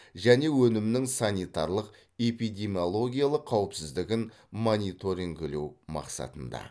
және өнімнің санитарлық эпидемиологиялық қауіпсіздігін мониторингілеу мақсатында